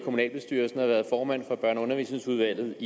i kommunalbestyrelsen og har været formand for børne og undervisningsudvalget